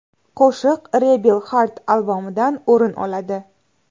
Qo‘shiq Rebel Heart albomidan o‘rin oladi.